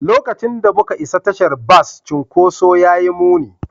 Lokacin da muka isa tashar bas, cunkoson ya yi muni.